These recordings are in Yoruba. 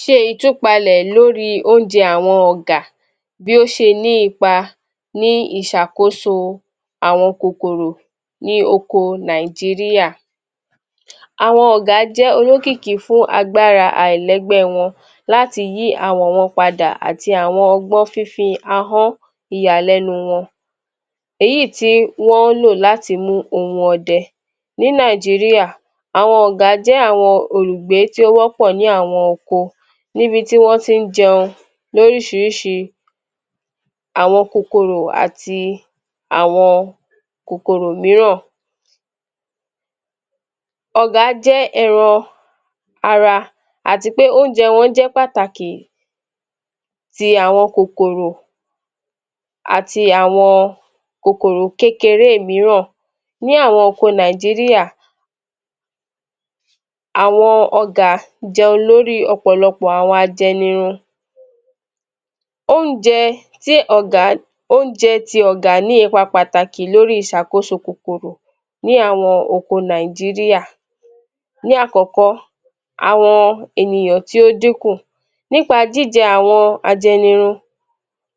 Ṣe ìtúpalẹ̀ lórí oúnjẹ àwọn Ọ̀gà bí ó ṣe ní ipa ní ìṣàkóso àwọn kòkòrò ní oko Nàìjíríà. Àwọn Ọ̀gà jẹ́ olókìkí fún agbára àìlẹgbẹ́wọn láti yí awọ̀ wọn padà àti àwọn ọgbọn fífi ìyàlẹ́nu wọn, èyí tí wọ́n lò láti mú ohùn ọdẹ. Ní Nàìjíríà, àwọn Ọ̀gà jẹ́ àwọn olùgbé tí ó wọ́pọ̀ ní àwọn oko níbi tí wọn ti ń jẹun oríṣiríṣi. Àwọn kòkòrò àti àwọ kòkòrò míràn. Ọ̀gà jẹ́ ẹran ara àti pé, oúnjẹ wọn jẹ́ pàtàkì ti àwọn kòkòrò àti àwọn kòkòrò kékeré míràn. Ní àwọn oko Nàìjíríà, àwọn ọ̀gà jẹun lórí ọ̀pọ̀lọpọ̀ àwọn ajenirun. Oúnjẹ tí ọ̀gà, oúnjẹ ti ọ̀gà ní ipa pàtàkì lórí ìṣàkóso kòkòrò ní àwọn oko Nàìjíríà. Ní àkọkọ, àwọn ènìyàn tí ó dínkù, nípa jíjẹ àwọn ajẹnirun,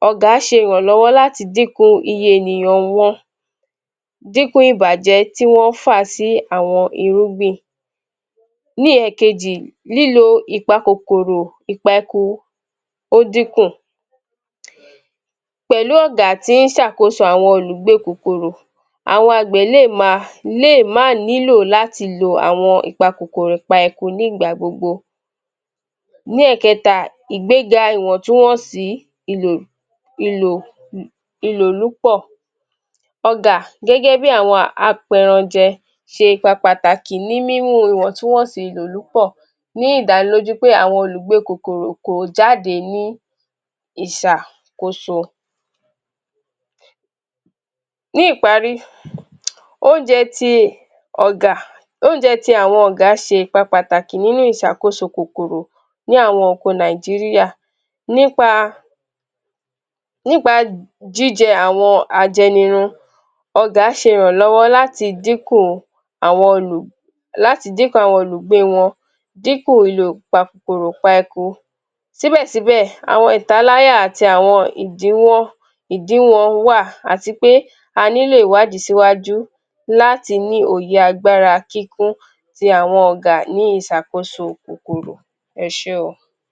ọ̀gà ṣe ìrànlọ́wọ́lati dínku iye ènìyàn wọn dípò ìbàjẹ́tí Wọ́n fà sí àwọn irúgbìn. Ní ẹ̀ẹ̀kejì, lílo ìpa kòkòrò ìpa eko, ó dínkùn pẹ̀lú ọ̀gà tí ń ṣàkóso àwọn olùgbé kòkòrò, àwọn Àgbẹ̀ lè máa lè mà nílò láti lo àwọn ìpa kòkòrò ìpa eko ní ìgbà gbogbo. Ní ẹ̀ẹ̀kẹta, ìgbéga ìwọ̀ntúnwọ̀nsì, ìlò ìlò ìlò lúpọ̀ ọ̀gà, gẹ́gẹ́ bí àwọn apẹranjẹ ṣe pàpàtàkì ní mímú ìwọ̀ntúnwọ̀nsì ìlòlùpọ̀ ní ìdánilójú pé àwọn olúgbé kòkòrò kò jáde ní ìṣà kóso. Ní ìparí, oúnjẹ ti ọ̀gà oúnjẹ ti àwọn ọ̀gà ṣe ìpa pàtàkì nínú ìṣàkóso kòkòrò ni àwọn oko Nàìjíríà nípa nípa jíjẹ àwọn ajenirun, ọ̀gà ṣe ìrànlọ́wọ̀ láti dín kò àwọn olùṣe, láti díkùn àwọn olùgbé wọn dípò {stuttering} síbẹ̀síbé, àwọn ìtaláyà àti àwọn ìdíwọ́ìdíwọ̀n wà àti pé àní lè wádi síwájú láti ní òye agbára kíkún ti àwọn ọ̀gà ní ìṣàkóso kòkòrò. Ẹ ṣe o.